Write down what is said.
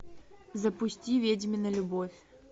запусти ведьмина любовь